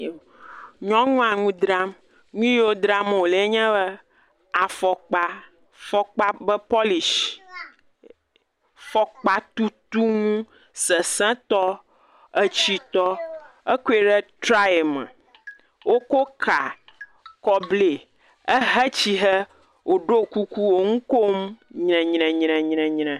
Nyɔnua ŋu dram nu yiwo dram wole ye nye afɔkpa, afɔkpa ƒe pɔlishi, fɔkpatutu nu sesẽtɔ, atsitɔ akɔe ɖe traye me wokɔ ka kɔ blae, ehe tsihe woɖo kuku wo nu kom nyrenyrenyre.